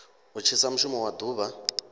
u thithisa mushumo wa duvha